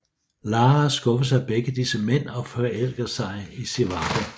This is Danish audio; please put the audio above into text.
Lara skuffes af begge disse mænd og forelsker sig i Zivago